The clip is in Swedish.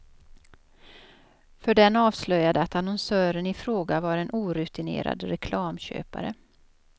För den avslöjade att annonsören i fråga var en orutinerad reklamköpare.